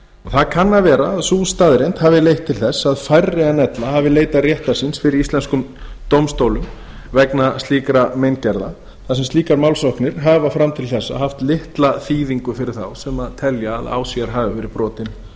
það kann að vera að sú staðreynd hafi leitt til þess að færri en ella hafi leitað réttar síns fyrir íslenskum dómstólum vegna slíkra meingerða þar sem slíkar málsóknir hafa fram til þessa haft litla þýðingu fyrir þá sem telja að á sér hafi verið